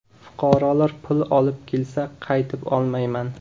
Fuqarolar pul olib kelsa, qaytib olmayman.